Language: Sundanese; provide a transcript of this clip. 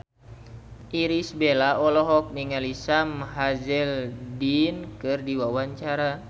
Irish Bella olohok ningali Sam Hazeldine keur diwawancara